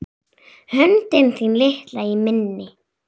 Höndin þín litla í minni.